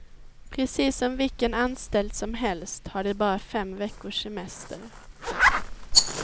Precis som vilken anställd som helst har de bara fem veckors semester.